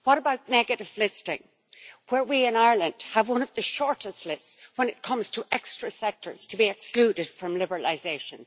What about negative listing, where we in Ireland have one of the shortest lists when it comes to extra sectors to be excluded from liberalisation.